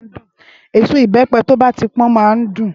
Ésó ibèpè tó bà ti pòn má n dún